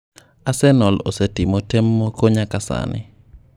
Arsenal osetimo tem moko nyaka sani.